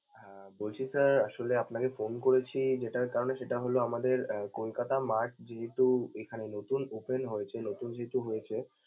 আহ বলছি sir আসলে আপনাকে phone করেছি যেটার কারণে সেটা হলো আমাদের mart যেহেতু এখানে নতুন open হয়েছে, নতুন যেহেতু হয়েছে।